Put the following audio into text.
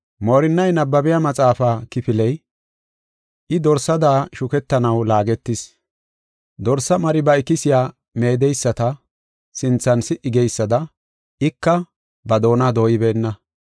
Moorinnay nabbabiya maxaafa kifiley, “I dorsada shuketanaw laagetis; Dorsa mari ba ikisiya meedeyisata sinthan si77i geysada, ika ba doona dooyibeenna.